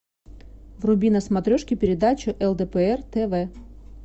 вруби на смотрешке передачу лдпр тв